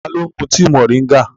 Ta ló ń mu tíi moringa?